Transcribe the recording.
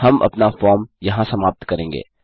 हम अपना फॉर्म यहाँ समाप्त करेंगे